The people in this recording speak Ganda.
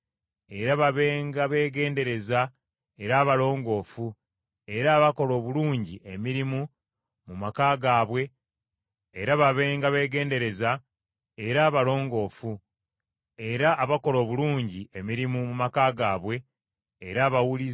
Era babenga beegendereza, era abalongoofu, era abakola obulungi emirimu mu maka gaabwe, era abawulize eri ba bbaabwe, ekigambo kya Katonda kiremenga okuvvoolebwa.